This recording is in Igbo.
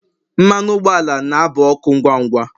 mmanụ ụgbọala na aba ọkụ ngwa ngwa